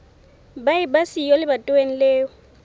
ba eba siyo lebatoweng leo